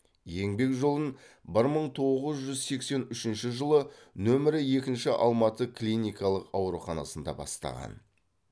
еңбек жолын бір мың тоғыз жүз сексен үшінші жылы нөмірі екінші алматы клиникалық ауруханасында бастаған